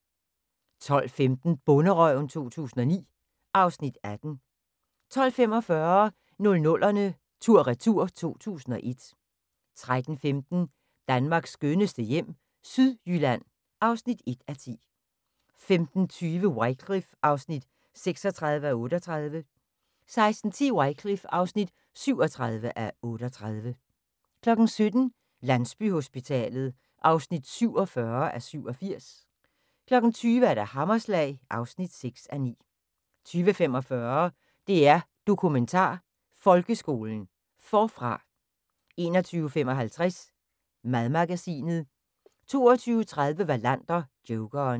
12:15: Bonderøven 2009 (Afs. 18) 12:45: 00'erne tur/retur: 2001 13:15: Danmarks skønneste hjem - Sydjylland (1:10) 15:20: Wycliffe (36:38) 16:10: Wycliffe (37:38) 17:00: Landsbyhospitalet (47:87) 20:00: Hammerslag (6:9) 20:45: DR Dokumentar: Folkeskolen – Forfra 21:55: Madmagasinet 22:30: Wallander: Jokeren